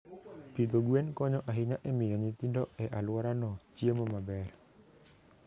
Pidho gwen konyo ahinya e miyo nyithindo e alworano chiemo maber.